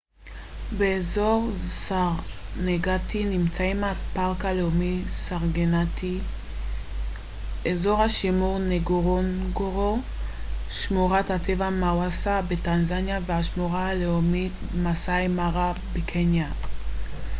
באזור סרנגטי נמצאים הפארק הלאומי סרנגטי אזור השימור נגורונגורו שמורת הטבע מאסווה בטנזניה והשמורה הלאומית מאסאי מארה בקניה